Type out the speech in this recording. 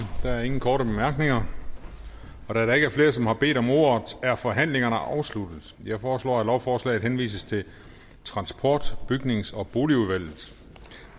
der er ingen korte bemærkninger da der ikke er flere som har bedt om ordet er forhandlingerne afsluttet jeg foreslår at lovforslaget henvises til transport bygnings og boligudvalget